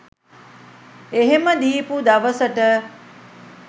එහෙම දීපු දවසට